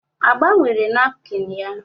A gbanwere nakpịn ya?